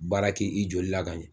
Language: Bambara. Baara k'i i joli la ka ɲɛ